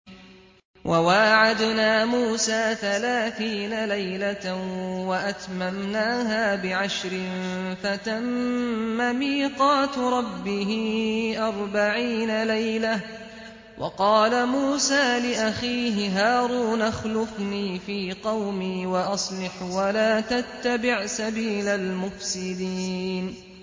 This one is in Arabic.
۞ وَوَاعَدْنَا مُوسَىٰ ثَلَاثِينَ لَيْلَةً وَأَتْمَمْنَاهَا بِعَشْرٍ فَتَمَّ مِيقَاتُ رَبِّهِ أَرْبَعِينَ لَيْلَةً ۚ وَقَالَ مُوسَىٰ لِأَخِيهِ هَارُونَ اخْلُفْنِي فِي قَوْمِي وَأَصْلِحْ وَلَا تَتَّبِعْ سَبِيلَ الْمُفْسِدِينَ